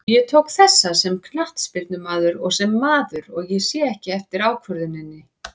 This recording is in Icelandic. Ég tók þessa sem knattspyrnumaður og sem maður, og ég sé ekki eftir ákvörðuninni.